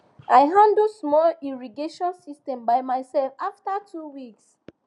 i handle small irrigation system by myself after two weeks